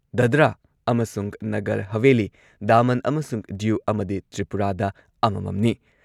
ꯗꯥꯗ꯭ꯔꯥ ꯑꯃꯁꯨꯡ ꯅꯒꯔ ꯍꯥꯚꯦꯂꯤ, ꯗꯥꯃꯟ ꯑꯃꯁꯨꯡ ꯗ꯭ꯌꯨ ꯑꯃꯗꯤ ꯇ꯭ꯔꯤꯄꯨꯔꯥꯗ ꯑꯃꯃꯝꯅꯤ ꯫